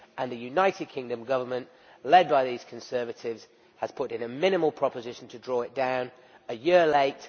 The United Kingdom Government, led by these Conservatives has now put in a minimal proposition to draw it down a year late.